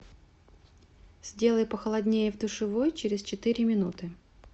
сделай похолоднее в душевой через четыре минуты